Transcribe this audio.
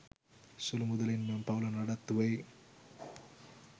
සුළු මුදලින් මෙම පවුල නඩත්තු වෙයි.